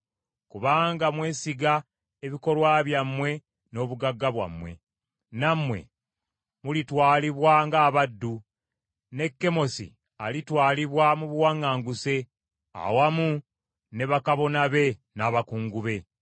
Kubanga mwesiga ebikolwa byammwe n’obugagga bwammwe, nammwe mulitwalibwa ng’abaddu, ne Kemosi alitwalibwa mu buwaŋŋanguse awamu ne bakabona be n’abakungu be.